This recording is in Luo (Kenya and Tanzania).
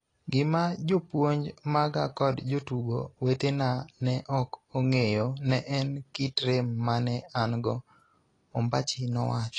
Gima jopuonj maga kod jotugo wetena ne ok ong'eyo ne en kit rem mane an go, Ombachi nowacho.